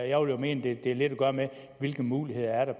jeg vil jo mene det har lidt at gøre med hvilke muligheder der